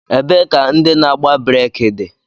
Ebee ka ndị na-agba breeki dị?